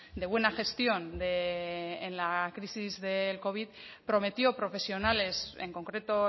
de buena gestión en la crisis del covid prometió profesionales en concreto